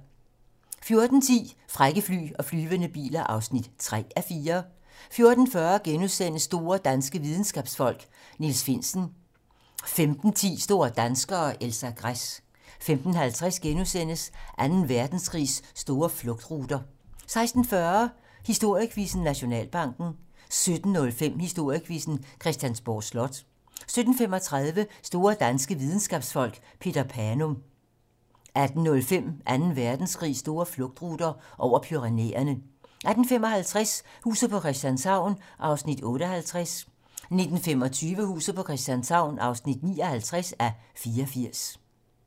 14:10: Frække fly og flyvende biler (3:4) 14:40: Store danske videnskabsfolk: Niels Finsen * 15:10: Store danskere - Elsa Gress 15:50: Anden Verdenskrigs store flugtruter * 16:40: Historiequizzen: Nationalbanken 17:05: Historiequizzen: Christiansborg Slot 17:35: Store danske videnskabsfolk: Peter Panum 18:05: Anden Verdenskrigs store flugtruter - over Pyrenæerne 18:55: Huset på Christianshavn (58:84) 19:25: Huset på Christianshavn (59:84)